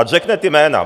Ať řekne ta jména.